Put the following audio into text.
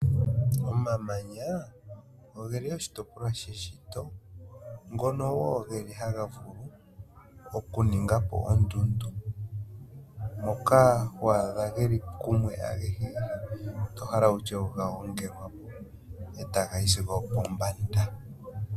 Omamanya ogeli oshitopolwa sheshito ngono woo haga vulu okuninga po ondundu, moka ho adha geli kumwe agehe tohala wutye ogagongelwa po etaga yi sigo opombanda